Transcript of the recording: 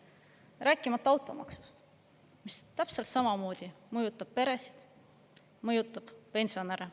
Rääkimata automaksust, mis täpselt samamoodi mõjutab peresid, mõjutab pensionäre.